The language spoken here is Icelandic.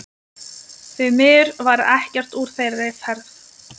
Því miður varð ekkert úr þeirri ferð.